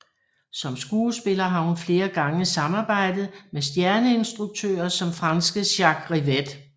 Som skuespiller har hun flere gange samarbejdet med stjerneinstruktører som franske Jacques Rivette